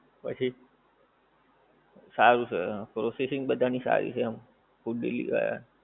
પછી સારું છે processing બધાની સારી છે એમ food delivery વાળા